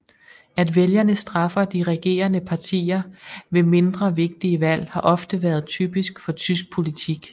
At vælgerne straffer de regerende partier ved mindre vigtige valg har ofte været typisk for tysk politik